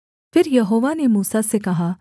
फिर यहोवा ने मूसा से कहा